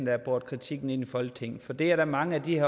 har båret kritikken ind i folketinget for det er der mange af de